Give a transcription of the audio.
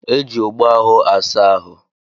Eji ogbo ahụ asa ahụ.